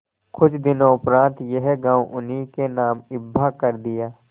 कुछ दिनों उपरांत यह गॉँव उन्हीं के नाम हिब्बा कर दिया